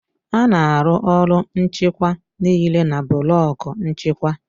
A na-arụ ọrụ nchịkwa niile na blọku nchịkwa